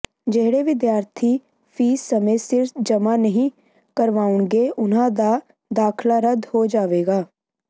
ਜਿਹੜੇ ਵਿਦਿਆਰਥੀ ਫੀਸ ਸਮੇ ਸਿਰ ਜਮ੍ਹਾਂ ਨਹੀਂ ਕਰਵਾਉਣਗੇ ਉਨ੍ਹਾਂ ਦਾ ਦਾਖਲਾ ਰੱਦ ਹੋ ਜਾਵੇਗਾ